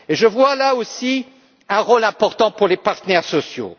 Je vois, là aussi, un rôle important pour les partenaires sociaux.